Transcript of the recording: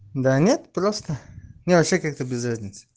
да нет просто мне вообще как-то без разницы